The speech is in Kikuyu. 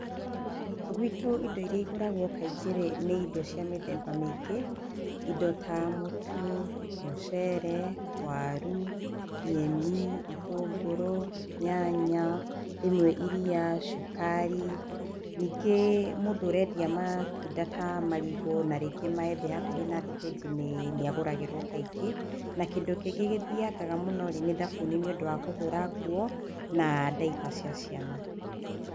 Gwĩtũ indo iria igũragwo kaingĩ nĩ mĩthemba mĩingĩ. Indo ta mũtu, mũcere, waru, nyeni, itũngũrũ, nyanya, rĩmwe iria, cukari, ningĩ mũndũ ũrendia matunda ta marigũ na rĩngĩ maembe hakuhĩ na thitanji nĩagũragĩrwo kaingĩ. Na kĩndũ kĩngĩ gĩthiaga mũno-rĩ, nĩ thabuni nĩ ũndũ wa kũhũra nguo na ndaimba cia ciana.